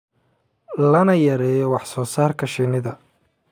lana yareeyo wax soo saarka shinnida.